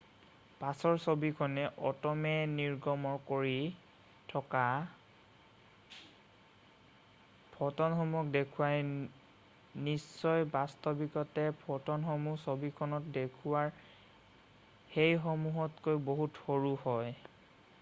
পাছৰ ছবিখনে অট'মে নিৰ্গমণ কৰি থকা ফ'টনসমূহক দেখুৱাই নিশ্চয় বাস্তৱিকতে ফ'টনসমূহ ছবিখনত দেখুওৱা সেইসমূহতকৈও বহুত সৰু হয়৷